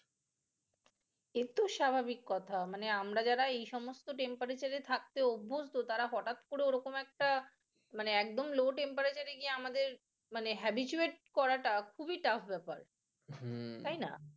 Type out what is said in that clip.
এত স্বাভাবিক কথা মানে আমরা যারা এই সমস্ত temperature এ থাকতে অভ্যস্থ তারা হঠাৎ করে ও রকম একটা মানে একদম low temperature এ গিয়ে আমাদের মানে habituate করা টা খুবই tough ব্যাপার তাই না?